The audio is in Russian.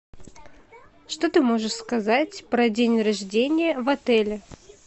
что ты можешь сказать про день рождения в отеле